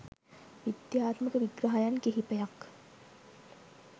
විද්‍යාත්මක විග්‍රහයන් කිහිපයක්